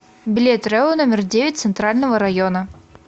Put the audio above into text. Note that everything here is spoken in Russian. билет рэу номер девять центрального района